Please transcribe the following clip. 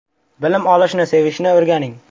Bilim olishni sevishni o‘rganing!